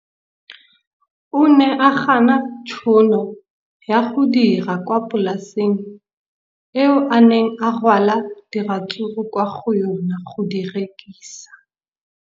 O ne a gana tšhono ya go dira kwa polaseng eo a neng rwala diratsuru kwa go yona go di rekisa.